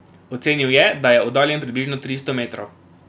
Ocenil je, da je oddaljen približno tristo metrov.